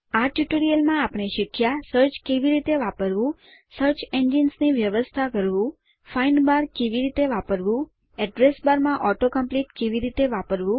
આ ટ્યુટોરીયલમાં આપણે શીખ્યા સર્ચ કેવી રીતે વાપરવું સર્ચ એન્જિન્સ ની વ્યવસ્થા કરવું ફાઇન્ડ બાર કેવી રીતે વાપરવું એડ્રેસ બાર માં auto કોમ્પ્લીટ કેવી રીતે વાપરવું